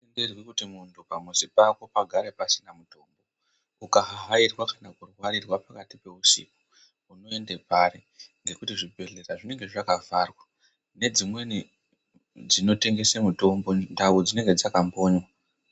Tenderwi kuti muntu pamuzi pake pagare pasina muntu ukahahairwa kana kurwarirwa pakati peusiku unoende pari ngekuti zvibhedhlera zvinenge zvakavharwa nedzimweni dzinotengese mutombo ndau dzinenge dzakakonywa.